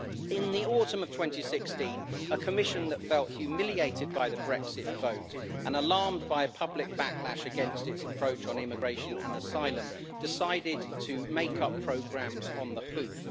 In the autumn of 2016, a Commission that felt humiliated by the Brexit vote and alarmed by a public backlash against its approach on immigration and asylum, decided to make up programmes on the hoof.